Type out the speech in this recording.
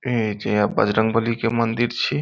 ए जे बजरंगबली के मंदिर छै।